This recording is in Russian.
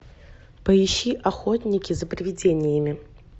поищи охотники за привидениями